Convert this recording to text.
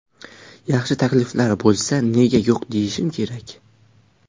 Yaxshi takliflar bo‘lsa, nega yo‘q deyishim kerak.